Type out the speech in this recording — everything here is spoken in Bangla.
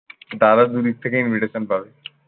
দাদা দুদিক থেকে invitation পাবে।